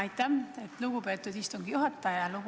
Aitäh, lugupeetud istungi juhataja!